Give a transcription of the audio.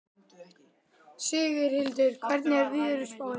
Sigurhildur, hvernig er veðurspáin?